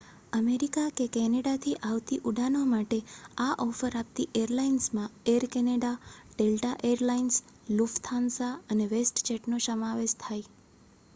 America કે કેનેડાથી આવતી ઉડાનો માટે આ ઓફર આપતી એરલાઇન્સમાં Air Canada Delta Air Lines Lufthansa અને વેસ્ટજેટનો સમાવેશ થાય